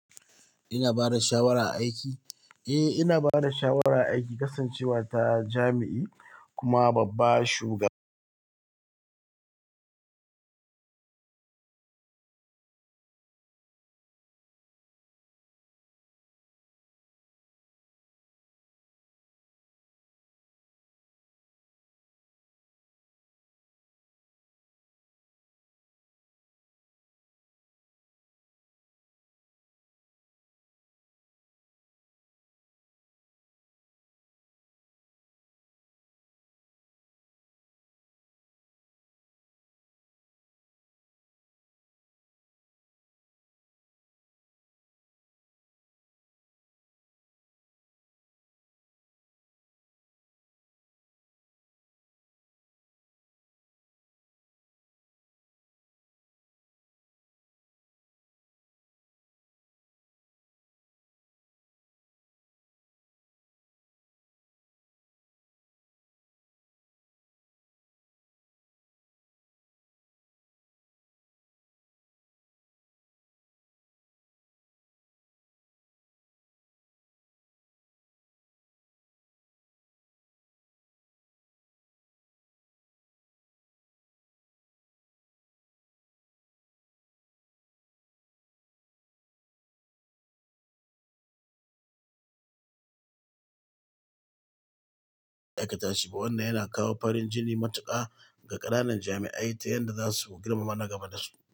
Ina bada shawara a aiki? Eh ina bada shawara a aiki, kasancewa ta jami'i kuma babba shugaba. Aikata shi, wannan yana kawo farin jini matuƙa ga ƙananan jami'ai ta yadda za su girmama nagaba dasu.